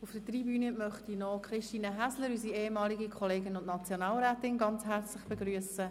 Auf der Tribüne möchte ich noch Christine Häsler, unsere ehemalige Kollegin und Nationalrätin, herzlich begrüssen.